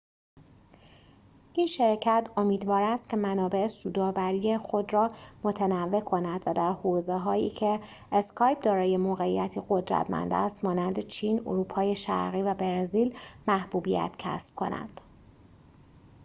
این شرکت امیدوار است که منابع سودآوری خود را متنوع کند و در حوزه‌هایی که اسکایپ دارای موقعیتی قدرتمند است مانند چین اروپای شرقی و برزیل محبوبیت کسب کند